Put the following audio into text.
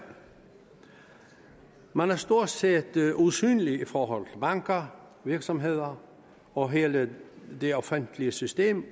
man stort set usynlig i forhold til banker virksomheder og hele det offentlige system